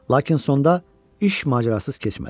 Lakin sonda iş macərasız keçmədi.